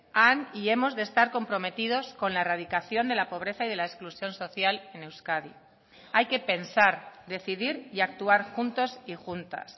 han y hemos de estar comprometidos con la erradicación de la pobreza y de la exclusión social en euskadi hay que pensar decidir y actuar juntos y juntas